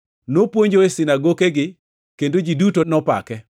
Nopuonjo e sinagokegi, kendo ji duto nopake.